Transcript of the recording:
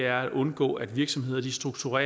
at undgå at virksomheder strukturer